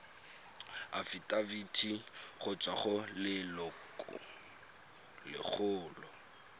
afitafiti go tswa go lelokolegolo